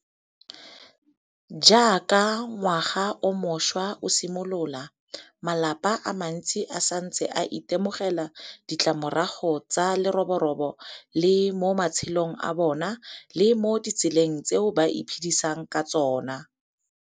Jaaka ngwaga o mošwa o simolola, malapa a mantsi a santse a itemogela ditlamorago tsa leroborobo le mo matshelong a bona le mo ditseleng tseo ba iphedisang ka tsona.